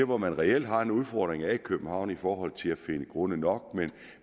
hvor man reelt har en udfordring er i københavn i forhold til at finde grunde nok